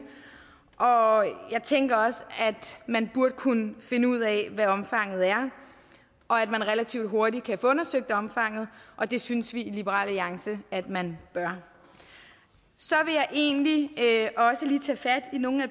og jeg tænker også at man burde kunne finde ud af hvad omfanget er og at man relativt hurtigt kan få undersøgt omfanget og det synes vi i liberal alliance at man bør så vil jeg egentlig også lige tage fat i nogle af